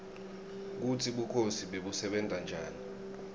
kutsi bukhosi bebusebenta njani